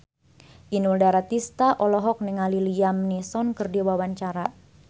Inul Daratista olohok ningali Liam Neeson keur diwawancara